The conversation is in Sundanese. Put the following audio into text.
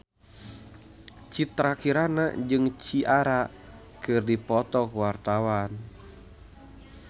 Citra Kirana jeung Ciara keur dipoto ku wartawan